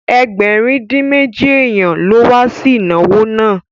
Ẹgbẹ̀rin-dín-méjì èèyàn ló ma wá sí ìnáwó náà